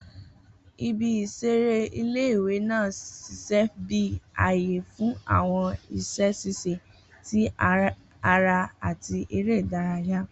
Ibi-iṣere ile-iwe naa ṣiṣẹ bi aaye fun awọn iṣẹ ṣiṣe ti ara ati ere idaraya.